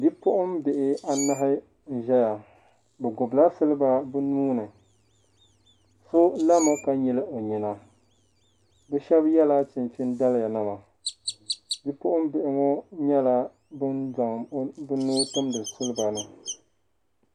Bipuɣi bihi anahi n ʒɛya bɛ gbubi la siliba bɛ nuhi ni so lami ka nyili ɔnyina bɛ shabi yela chinchini daliya nima bi puɣin bihi ŋɔnyɛla. ban zaŋla bɛ nuhi tumdi siliba ni.